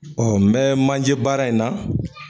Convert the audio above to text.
n bɛ manje baara in na